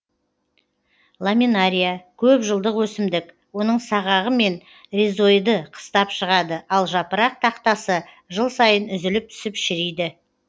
ламинария көп жылдық өсімдік оның сағағымен ризоиды қыстап шығады ал жапырақ тақтасы жыл сайын үзіліп түсіп шіриді